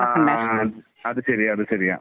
ആഹ്. അത് ശരിയാണ്. അത് ശരിയാണ്.